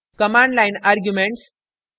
* command line arguments